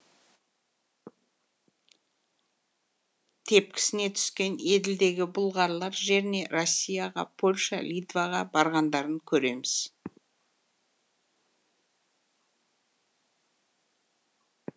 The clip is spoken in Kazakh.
тепкісіне түскен еділдегі бұлғарлар жеріне россияға польша литваға барғандарын көреміз